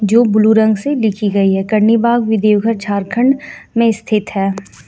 जो ब्लू रंग से लिखी गई है करनीबाग बी देवघर झारखंड में स्थित है.